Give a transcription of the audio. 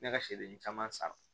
Ne ka seliden caman san